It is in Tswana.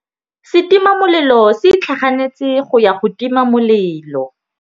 Setima molelô se itlhaganêtse go ya go tima molelô.